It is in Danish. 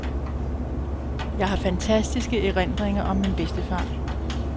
Jeg har fantastiske erindringer om min bedstefar.